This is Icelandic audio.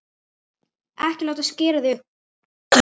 Ekki láta skera þig upp!